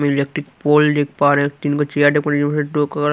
electric pole देख पा रहे है तीन --